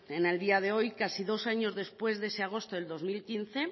en el día de hoy casi dos años después de ese agosto del dos mil quince